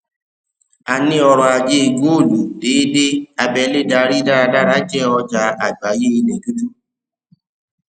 a ní ọrọ ajé góòlù déédé abẹlé darí dáradára jẹ ọjà àgbáyé ilẹ dúdú